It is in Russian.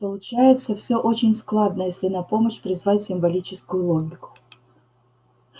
получается всё очень складно если на помощь призвать символическую логику